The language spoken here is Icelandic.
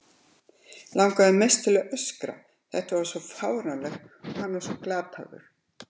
Langar mest til að öskra, þetta er svo fáránlegt og hann svo glataður.